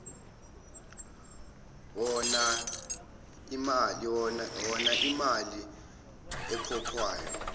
hona iimali ekhokhwayo